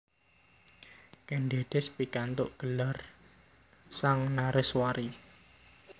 Kèn Dèdès pikantuk gelar Sang Nareswari